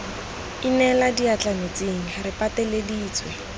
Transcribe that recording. inela diatla metsing re pateleditswe